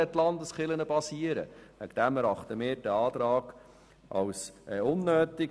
Aus diesem Grund erachten wir den vorliegenden Antrag als unnötig.